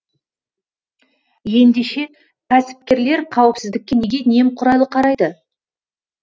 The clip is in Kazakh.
ендеше кәсіпкерлер қауіпсіздікке неге немқұрайлы қарайды